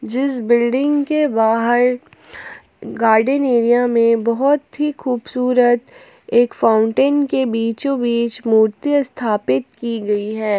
जिस बिल्डिंग के बाहर गार्डन एरिया में बहोत ही खूबसूरत एक फाउंटेन के बीचों बीच मूर्ति स्थापित की गई है।